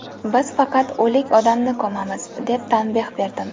Biz faqat o‘lik odamni ko‘mamiz”, deb tanbeh berdim.